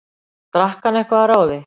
Drakk hann eitthvað að ráði?